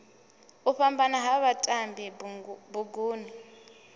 u fhambana ha vhatambi buguni